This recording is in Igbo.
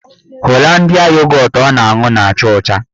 Holandịa yogọtụ ọ na-aṅụ na-acha ọcha